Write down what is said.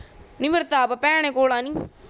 ਨੀ ਮੇਰੇ ਤੇ ਆਪ ਭੈਣ ਕੋਲ ਆ ਨੀ